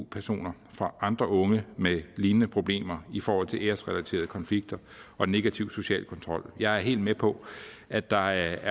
personer fra andre unge med lignende problemer i forhold til æresrelaterede konflikter og negativ social kontrol jeg er helt med på at der